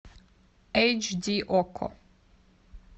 эйч ди окко